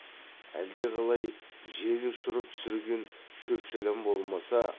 әлдеқалай жел ұшырып түсірген шөп шәләм болмаса